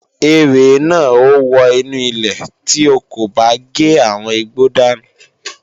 Erè náà ó wọ inú ilé tí o kò bá gé àwọn igbó dànù